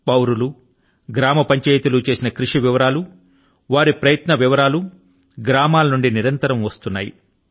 పౌరులు గ్రామ పంచాయతీ లు చేసిన కృషి వివరాలు వారి ప్రయత్నాల వివరాలు గ్రామాల నుండి నిరంతరం వస్తున్నాయి